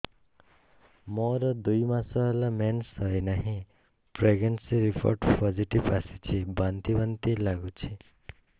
ମୋର ଦୁଇ ମାସ ହେଲା ମେନ୍ସେସ ହୋଇନାହିଁ ପ୍ରେଗନେନସି ରିପୋର୍ଟ ପୋସିଟିଭ ଆସିଛି ବାନ୍ତି ବାନ୍ତି ଲଗୁଛି